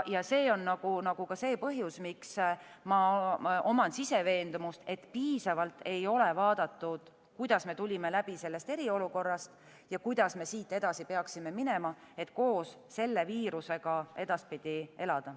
See on ka põhjus, miks ma oman veendumust, et piisavalt ei ole vaadatud, kuidas me tulime läbi eriolukorrast ja kuidas me siit edasi peaksime minema, et koos viirusega elada.